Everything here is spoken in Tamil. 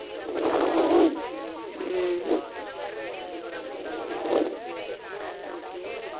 பாண்டிசேரி ம் இன்னொருத்தங்க விலுபுரத்துல இருக்காங்க okay